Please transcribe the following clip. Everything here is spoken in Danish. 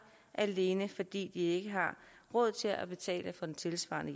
alene fordi de ikke har råd til at betale for tilsvarende